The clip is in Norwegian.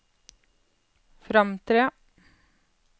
fremtre